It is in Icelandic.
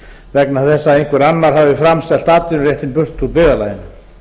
vegna þess að einhver annar hafi framselt atvinnuréttinn burt úr byggðarlaginu